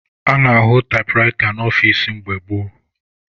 A na-ahụ taịpụraịta n'ọfici mgbe gboo.